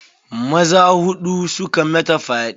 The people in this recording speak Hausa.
Maza huɗu suka mata fyaɗe.